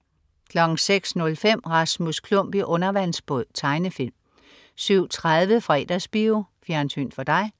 06.05 Rasmus Klump i undervandsbåd. Tegnefilm 07.30 Fredagsbio. Fjernsyn for dig